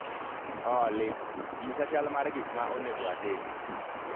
Olly, nyisa chal mar gik ma onego atim